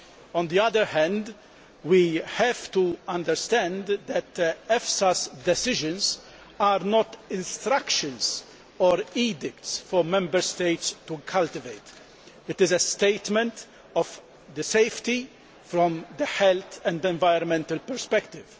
On the other hand, we have to understand that EFSA's decisions are not instructions or edicts requiring Member States to cultivate GMOs. They are statements on safety from the health and environmental perspective.